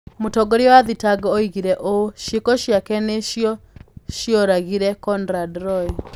Mũtongoria wa thitango oigire ũũ: "Ciĩko ciake nĩ cio cioragire Conrad Roy".